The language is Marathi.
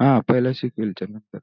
हा पहीला sequal च नंतर